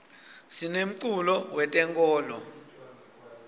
sinemculo we tenkolo